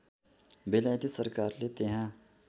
बेलायती सरकारले त्यहाँ